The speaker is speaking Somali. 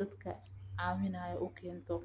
dadka cawinaya ukeento.